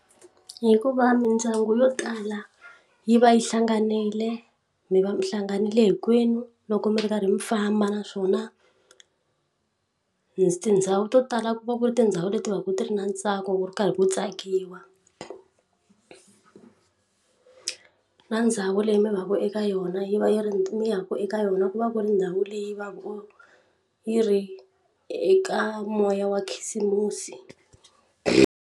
Ku hikuva mindyangu yo tala yi va yi hlanganile mi va mi hlanganyerile hinkwenu loko mi ri karhi mi famba naswona tindhawu to tala ku va ku ri tindhawu leti va ku ti ri na ntsako wu ri karhi ku tsaka ku dyiwa ku na ndhawu leyi mi vaviwa eka yona yi va yi ri ya ku eka yona ku va ku ri ndhawu leyi va yi ri eka moya wa khisimusi.